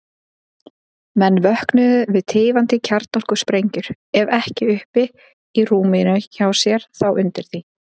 Menn vöknuðu við tifandi kjarnorkusprengjur, ef ekki uppi í rúminu hjá sér, þá undir því.